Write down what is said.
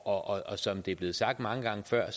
og som det er blevet sagt mange gange før